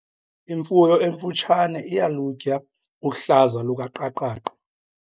Imfuyo emfutshane iyalutya uhlaza lukaqaqaqa.